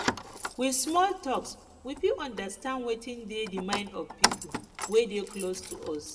with small talks we fit understand wetin dey di mind of pipo wey dey close to us